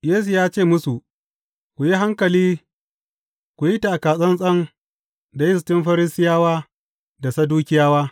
Yesu ya ce musu, Ku yi hankali, ku yi taka zallan da yistin Farisiyawa da Sadukiyawa.